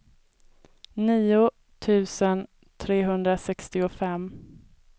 nio tusen trehundrasextiofem